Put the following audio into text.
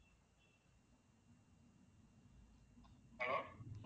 hello